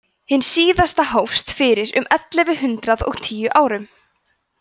hin síðasta hófst fyrir um ellefu hundrað og tíu árum